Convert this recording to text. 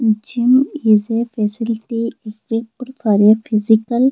gym is a facility equiped for a physical --